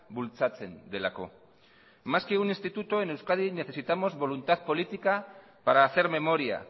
bultzatzen delako más que un instituto en euskadi necesitamos voluntad política para hacer memoria